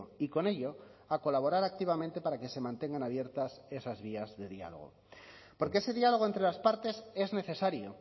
y con ello a colaborar activamente para que se mantengan abiertas esas vías de diálogo porque ese diálogo entre las partes es necesario